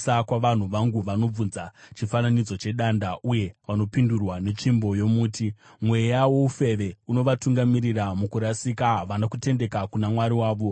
kwavanhu vangu. Vanobvunza chifananidzo chedanda uye vanopindurwa netsvimbo yomuti. Mweya woufeve unovatungamirira mukurasika, havana kutendeka kuna Mwari wavo.